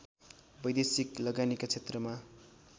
वैदेशिक लगानीका क्षेत्रमा